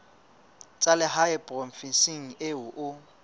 tsa lehae provinseng eo o